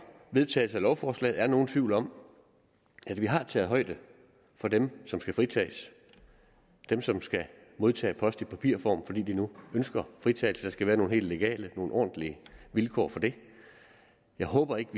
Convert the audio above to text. vedtagelsen af lovforslaget er nogen tvivl om at vi har taget højde for dem som skal fritages dem som skal modtage post i papirform fordi de nu ønsker fritagelse der skal være nogle helt legale og ordentlige vilkår for det jeg håber ikke